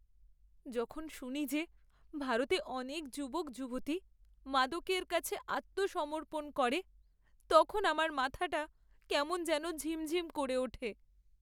যখন শুনি যে ভারতে অনেক যুবক যুবতী মাদকের কাছে আত্মসমর্পণ করে, তখন আমার মাথাটা কেমন যেন ঝিম ঝিম করে ওঠে!